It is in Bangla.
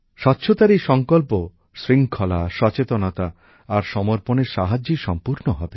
স্বচ্ছতার এই সংকল্প শৃঙ্খলা সচেতনতা আর সমর্পণের সাহায্যেই সম্পূর্ণ হবে